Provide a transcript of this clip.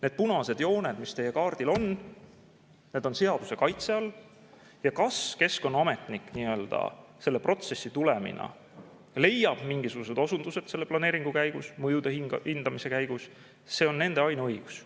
Need punased jooned, mis teie kaardil on, need on seaduse kaitse all ja kas keskkonnaametnik selle protsessi tulemina leiab mingisugused osundused selle planeeringu käigus, mõjude hindamise käigus – see on nende ainuõigus.